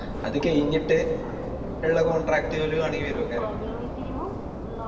അത് കെയിഞ്ഞിട്ട് ഇള്ള Contract കൾ